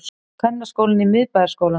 Kvennaskólinn í Miðbæjarskólann